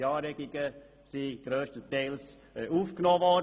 Diese Anregungen wurden grösstenteils aufgenommen.